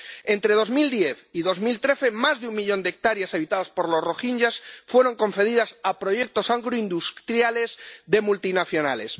Entre 2010 y 2013 más de un millón de hectáreas habitadas por los rohinyás fueron concedidas a proyectos agroindustriales de multinacionales.